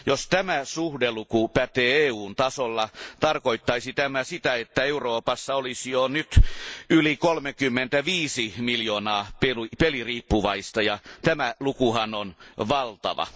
Jos tämä suhdeluku pätee EUn tasolla, tarkoittaisi se sitä, että Euroopassa olisi jo nyt yli 35 miljoonaa peliriippuvaista, ja tämä lukuhan on valtava.